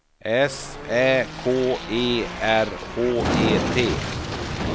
S Ä K E R H E T